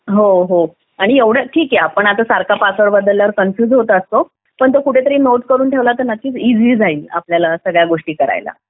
हो हो आणि एवढेच ठीक आहे की आपण आता सारखा पासवर्ड बदलल्यावर कन्फ्युज होतं पण तो कुठेतरी नोट करून ठेवला तर नक्कीच इझी जाईल आपल्याला सगळ्याच गोष्टी करायला